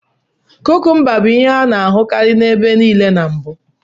Kukumba bụ ihe a na-ahụkarị ebe nile na mbụ.